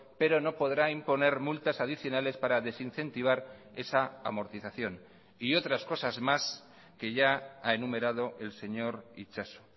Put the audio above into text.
pero no podrá imponer multas adicionales para desincentivar esa amortización y otras cosas más que ya ha enumerado el señor itxaso